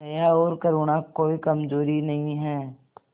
दया और करुणा कोई कमजोरी नहीं है